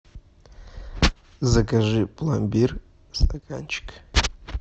закажи пломбир стаканчик